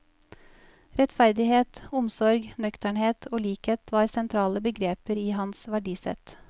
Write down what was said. Rettferdighet, omsorg, nøkternhet og likhet var sentrale begreper i hans verdisett.